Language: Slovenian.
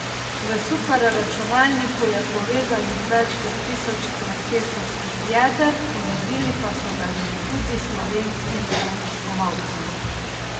V superračunalniku je povezanih več kot tisoč procesorskih jeder ponudili pa so ga že tudi slovenskim raziskovalcem.